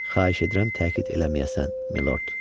Xahiş edirəm təkid eləməyəsən, Milord.